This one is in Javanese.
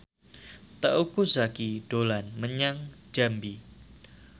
Teuku Zacky dolan menyang Jambi